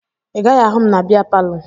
Ị gaghị ahụ m na bịa palọ